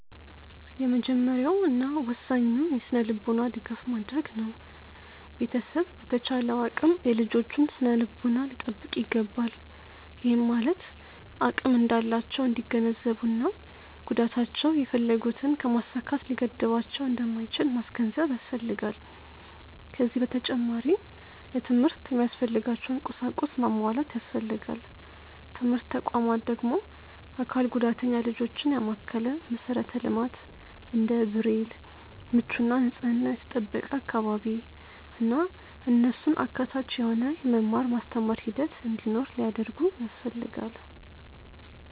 የመጀመሪያው እና ወሳኙ የስነልቦና ድጋፍ ማድረግ ነው። ቤተሰብ በተቻለው አቅም የልጆቹን ስነልቦና ሊጠብቅ ይገባል፤ ይህም ማለት አቅም እንዳላቸው እንዲገነዘቡ እና ጉዳታቸው የፈለጉትን ከማሳካት ሊገድባቸው እንደማይችል ማስገንዘብ ያስፈልጋል። ከዚ በተጨማሪ ለትምህርት የሚያስፈልጋቸውን ቁሳቁስ ማሟላት ያስፈልጋል። ትምህርት ተቋማት ደግሞ አካል ጉዳተኛ ልጆችን ያማከለ መሠረተ ልማት እንደ ብሬል፣ ምቹ እና ንፅሕናው የተጠበቀ አካባቢ፣ እና እነሱን አካታች የሆነ የመማር ማስተማር ሂደት እንዲኖር ሊያደርጉ ያስፈልጋል።